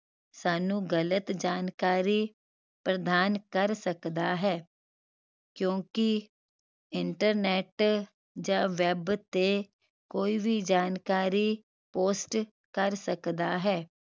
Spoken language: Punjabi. ਸਾਨੂੰ ਗ਼ਲਤ ਜਾਣਕਾਰੀ ਪ੍ਰਦਾਨ ਕਰ ਸਕਦਾ ਹੈ ਕਿਓਂਕਿ internet ਜਾ web ਤੇ ਕੋਈ ਵੀ ਜਾਣਕਾਰੀ post ਕਰ ਸਕਦਾ ਹੈ